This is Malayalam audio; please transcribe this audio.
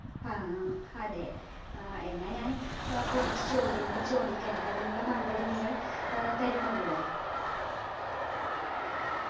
ആ അതെ ആ എന്നാ ഞാൻ ഏർ കൊറച്ച് ചോദ്യങ്ങള് ചോദിക്ക എനിക്കതിനുള്ള മറുപടി നിങ്ങൾ ഏർ തരുമല്ലോ